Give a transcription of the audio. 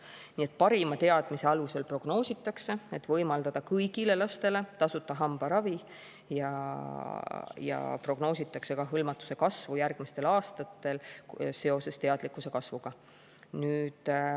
Nii et parima teadmise alusel prognoositakse, et võimaldada kõigile lastele tasuta hambaravi, ja prognoositakse ka hõlmatuse kasvu järgmistel aastatel seoses teadlikkuse suurenemisega.